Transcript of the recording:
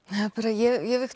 ég